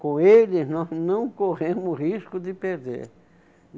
Com eles, nós não corremos risco de perder.